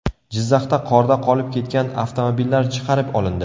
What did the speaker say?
Jizzaxda qorda qolib ketgan avtomobillar chiqarib olindi.